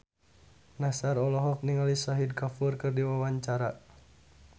Nassar olohok ningali Shahid Kapoor keur diwawancara